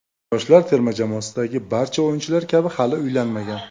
Yoshlar terma jamoasidagi barcha o‘yinchilar kabi hali uylanmagan.